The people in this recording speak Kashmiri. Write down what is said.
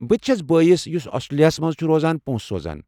بٔتہِ چَھس بٲیِس، یُس آسٹرٛلیاہس منٛز چھُ روزان، پونٛسہٕ سوزان ۔